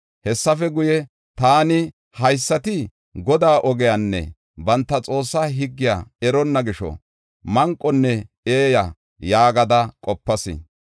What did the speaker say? Hessafe guye, taani, “Haysati Godaa ogiyanne banta Xoossaa higgiya eronna gisho, manqonne eeya” yaagada qopas.